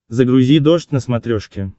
загрузи дождь на смотрешке